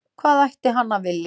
Hvað ætti hann að vilja?